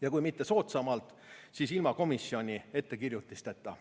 Ja kui mitte soodsamalt, siis ilma komisjoni ettekirjutusteta.